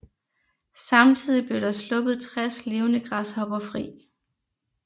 Samtidig blev der sluppet 60 levende græshopper fri